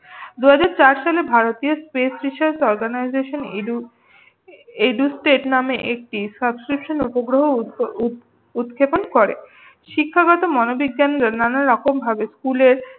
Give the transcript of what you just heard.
দু হাজার চার সালে ভারতীয় space station organisation education educate নামে একটি subscription উপগ্রহ উৎক্ষেপণ করে। শিক্ষাগত মনোবিজ্ঞানদের নানা রকম ভাবে স্কুলের